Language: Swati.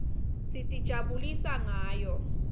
sitijabulisa ngayo